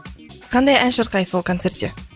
қандай ән шырқайсыз ол концертте